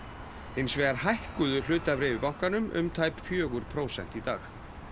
hins vegar hækkuðu hlutabréf í bankanum um tæp fjögur prósent í dag